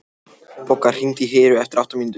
Bogga, hringdu í Heru eftir átta mínútur.